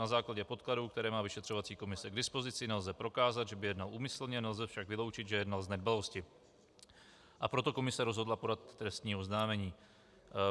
Na základě podkladů, které má vyšetřovací komise k dispozici, nelze prokázat, že by jednal úmyslně, nelze však vyloučit, že jednal z nedbalosti, a proto komise rozhodla podat trestní oznámení.